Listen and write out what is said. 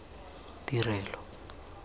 tirelo